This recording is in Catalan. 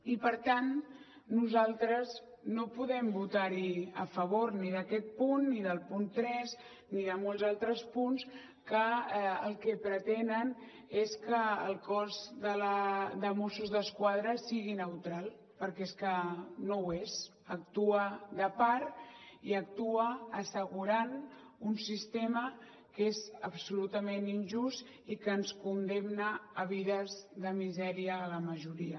i per tant nosaltres no podem votar hi a favor ni d’aquest punt ni del punt tres ni de molts altres punts que el que pretenen és que el cos de mossos d’esquadra sigui neutral perquè és que no ho és actua de part i actua assegurant un sistema que és absolutament injust i que ens condemna a vides de misèria a la majoria